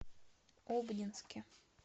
обнинске